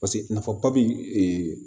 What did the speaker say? Paseke nafa papie